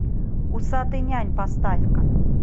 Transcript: усатый нянь поставь ка